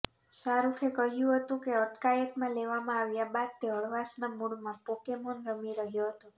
શાહરૂખે કહ્યુ હતુ કે અટકાયતમા લેવામાં આવ્યા બાદ તે હળવાશના મુડમાં પોકેમાન રમી રહૃાો હતો